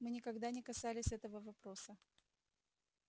мы никогда не касались этого вопроса